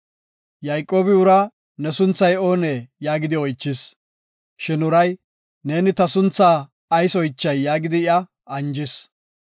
Yayqoobi uraa, “Ne sunthay oonee?” yaagidi oychis. Shin uray, “Neeni ta suntha ayis oychay?” yaagidi iya anjis.